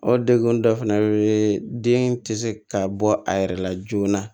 O degun dɔ fana be yen den te se ka bɔ a yɛrɛ la joona